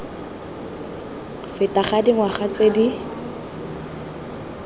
feta ga dingwaga tse di